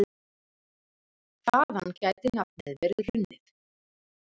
Karlinna, hvað er í dagatalinu mínu í dag?